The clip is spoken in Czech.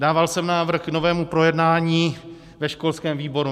Dával jsem návrh k novému projednání ve školském výboru.